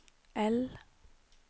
L